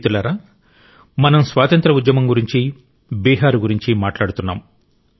మిత్రులారా మనం స్వాతంత్ర్య ఉద్యమం గురించి బీహార్ గురించి మాట్లాడుతున్నాం